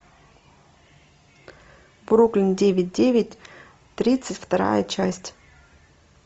бруклин девять девять тридцать вторая часть